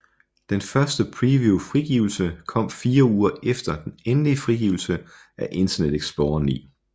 Den første preview frigivelse kom fire uger efter den endelige frigivelse af Internet Explorer 9